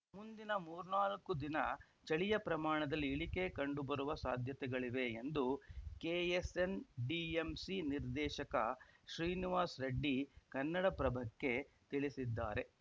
ಮುಂದಿನ ಮೂರ್ನಾಲ್ಕು ದಿನ ಚಳಿಯ ಪ್ರಮಾಣದಲ್ಲಿ ಇಳಿಕೆ ಕಂಡು ಬರುವ ಸಾಧ್ಯತೆಗಳಿವೆ ಎಂದು ಕೆಎಸ್‌ಎನ್‌ಡಿಎಂಸಿ ನಿರ್ದೇಶಕ ಶ್ರೀನಿವಾಸ್‌ ರೆಡ್ಡಿ ಕನ್ನಡಪ್ರಭಕ್ಕೆ ತಿಳಿಸಿದ್ದಾರೆ